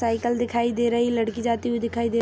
cycle दिखाई दे रही लड़की जाती हुई दिखाई दे रही --